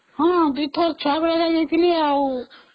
ହଁ ଦୁଇ ଥର ଛୁଆବେଳେ ଯାଇଥିଲି ଆଉ